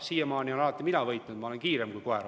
Siiamaani olen alati mina võitnud, ma olen olnud kiirem kui koer.